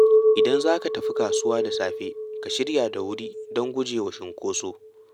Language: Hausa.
Idan za ka tafi kasuwa da safe, ka shirya da wuri don guje wa cinkoso.